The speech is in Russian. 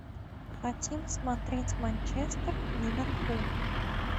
хотим смотреть манчестер ливерпуль